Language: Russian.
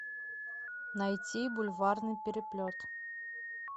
найти бульварный переплет